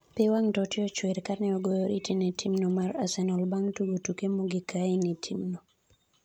Pi wang' Totti ochwer kane ogoyo oriti ne tim'no mar Arsenal bang' tugo tuke mogik ka en e tim'no